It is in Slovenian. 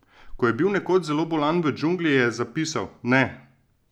Ko je bil nekoč zelo bolan v džungli, je zapisal: 'Ne!